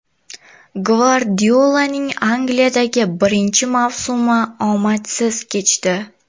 Gvardiolaning Angliyadagi birinchi mavsumi omadsiz kechdi.